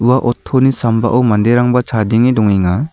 ua oto ni sambao manderangba chadenge dongenga.